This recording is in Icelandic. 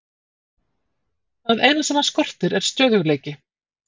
Það eina sem hann skortir er stöðugleiki.